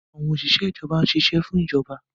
Òṣìṣẹ́ ìjọba ń ṣiṣẹ́ fún ìjọba